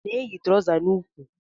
Ọ na eyi trousa n'úkwù?